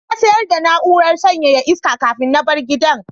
Na sayar da na'urar sanyaya iska kafin na bar gidan.